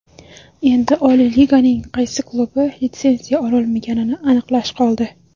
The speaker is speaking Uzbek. Endi Oliy Liganing qaysi klubi litsenziya ololmaganini aniqlash qoldi.